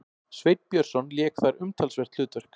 Sveinn Björnsson lék þar umtalsvert hlutverk.